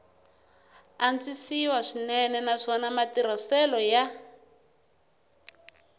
antswisiwa swinene naswona matirhiselo ya